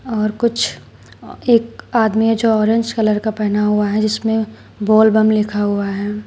और कुछ एक आदमी है जो ऑरेंज कलर का पहना हुआ हैं जिसमे बोल बम लिखा हुआ है।